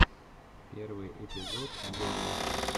первый эпизод доми